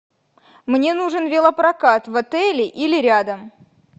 мне нужен велопрокат в отеле или рядом